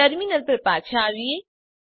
terminal પર પાછા આવીએ